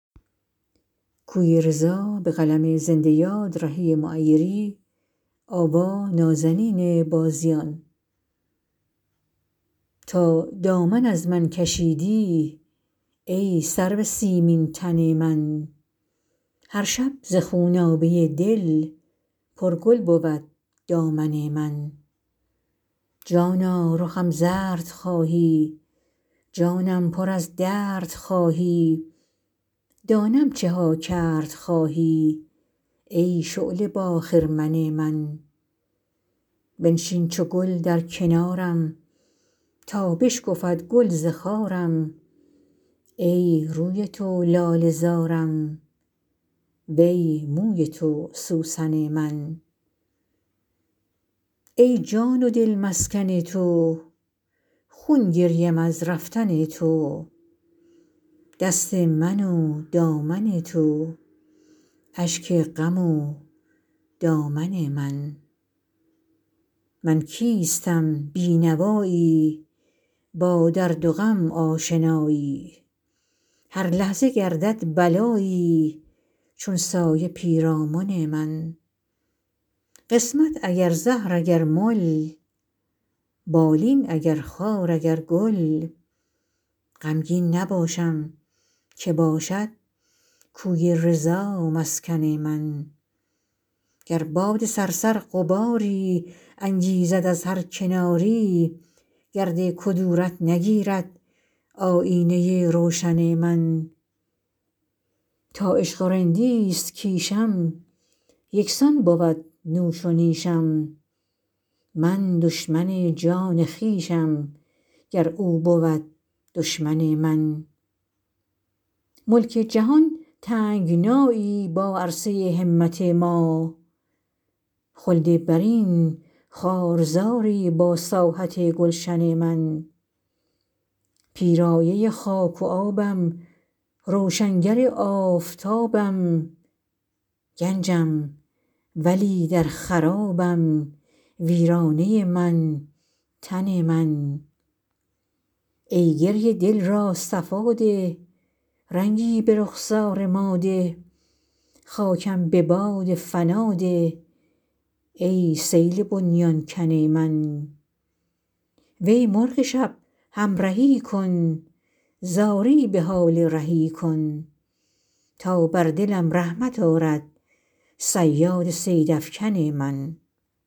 تا دامن از من کشیدی ای سرو سیمین تن من هر شب ز خونابه دل پر گل بود دامن من جانا رخم زرد خواهی جانم پر از درد خواهی دانم چه ها کرد خواهی ای شعله با خرمن من بنشین چو گل در کنارم تا بشکفد گل ز خارم ای روی تو لاله زارم وی موی تو سوسن من ای جان و دل مسکن تو خون گریم از رفتن تو دست من و دامن تو اشک غم و دامن من من کیستم بی نوایی با درد و غم آشنایی هر لحظه گردد بلایی چون سایه پیرامن من قسمت اگر زهر اگر مل بالین اگر خار اگر گل غمگین نباشم که باشد کوی رضا مسکن من گر باد صرصر غباری انگیزد از هر کناری گرد کدورت نگیرد آیینه روشن من تا عشق و رندیست کیشم یکسان بود نوش و نیشم من دشمن جان خویشم گر او بود دشمن من ملک جهان تنگنایی با عرصه همت ما خلد برین خار زاری با ساحت گلشن من پیرایه خاک و آبم روشنگر آفتابم گنجم ولی در خرابم ویرانه من تن من ای گریه دل را صفا ده رنگی به رخسار ما ده خاکم به باد فنا ده ای سیل بنیان کن من وی مرغ شب همرهی کن زاری به حال رهی کن تا بر دلم رحمت آرد صیاد صیدافکن من